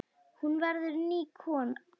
Hún verður ný kona.